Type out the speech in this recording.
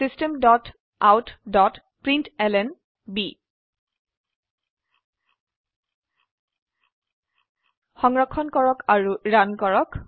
system dot out dot println সংৰক্ষণ কৰক আৰু ৰান কৰক